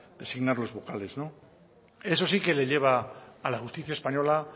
designar los vocales eso sí que le lleva a la justicia española